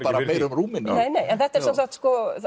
meira um Rúmeníu nei nei en þetta er sem sagt